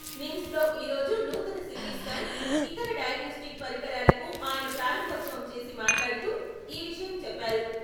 నిమ్స్ లో ఈరోజు నూతన సీటీ స్కాన్, ఇతర డయగ్నోస్టిక్ పరికరాలకు ఆయన ప్రారంభోత్సవం చేసి మాట్లాడుతూ..ఈ విషయం చెప్పారు.